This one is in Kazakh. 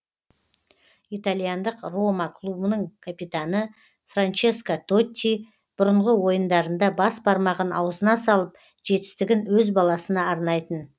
итальяндық рома клубының капитаны франческо тотти бұрынғы ойындарында бас бармағын аузына салып жетістігін өз баласына арнайтын